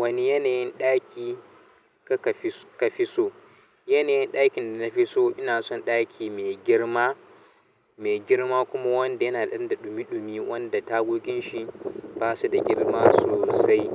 Wani yanayin ɗaki ka ka fi so? Yanayin ɗakin da na fi so ina son ɗaki mai girma, mai girma kuma wanda yana ɗan da ɗumi-ɗumi wanda tagogin shi ba su da girma sosai.